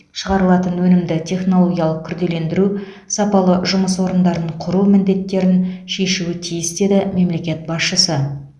шығарылатын өнімді технологиялық күрделендіру сапалы жұмыс орындарын құру міндеттерін шешуі тиіс деді мемлекет басшысы